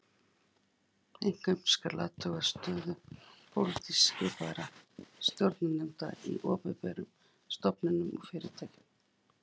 Einkum skal athuga stöðu pólitískt skipaðra stjórnarnefnda í opinberum stofnunum og fyrirtækjum